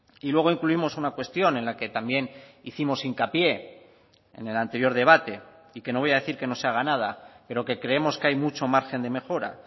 y luego incluimos una cuestión en la que también hicimos hincapié en el anterior debate y que no voy a decir que no se haga nada pero que creemos que hay mucho margen de mejora